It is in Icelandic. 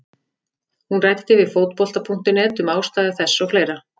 Hún ræddi við Fótbolta.net um ástæður þess og fleira.